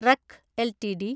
wreck LTD